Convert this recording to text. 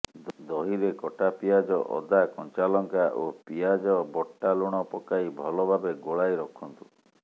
ଦହିରେ କଟା ପିଆଜ ଅଦା କଞ୍ଚାଲଙ୍କା ଓ ପିଆଜ ବଟା ଲୁଣ ପକାଇ ଭଲ ଭାବେ ଗୋଳାଇ ରଖନ୍ତୁ